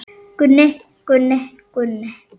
Gunni, Gunni, Gunni.